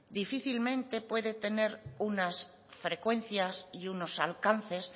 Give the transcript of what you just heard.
difícilmente puede tener unas frecuencias y unos alcances